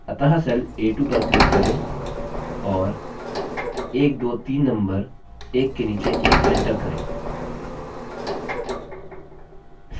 अतः cell a2 पर click करें और 123 नम्बर एक के नीचे एक enter करें